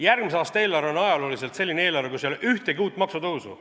Järgmise aasta eelarve on ajalooliselt selline eelarve, kus ei ole ühtegi uut maksutõusu.